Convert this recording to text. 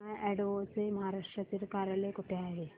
माय Advo चे महाराष्ट्रातील कार्यालय कुठे आहे